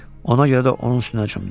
Ona görə də onun üstünə cumdum.